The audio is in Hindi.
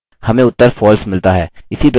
enter दबाएँ